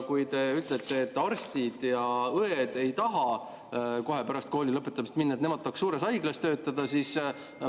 Te ütlesite, et arstid ja õed ei taha kohe pärast kooli lõpetamist minna, et nad tahaks suures haiglas töötada.